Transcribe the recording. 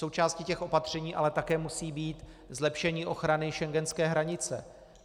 Součástí těch opatření ale také musí být zlepšení ochrany schengenské hranice.